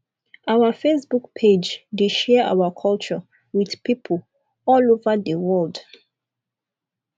our facebook page dey share our culture wit pipo all over di world